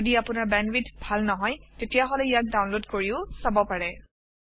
যদি আপোনাৰ বেণ্ডৱিডথ ভাল নহয় তেতিয়াহলে ইয়াক ডাউনলোড কৰিও চাব পাৰে